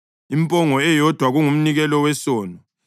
impongo eyodwa kungumnikelo wesono;